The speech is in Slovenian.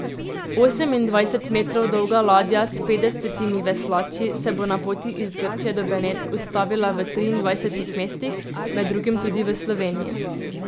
Osemindvajset metrov dolga ladja s petdesetimi veslači se bo na poti iz Grčije do Benetk ustavila v triindvajsetih mestih, med drugim tudi v Sloveniji.